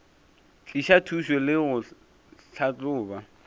tliša thušo le go tlhahloba